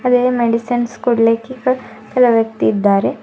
ಅದೇ ಮೆಡಿಸಿನ್ಸ್ ಕೊಡ್ಲಿಕ್ಕೆ ಕ ಕೆಲವು ವ್ಯಕ್ತಿ ಇದಾರೆ.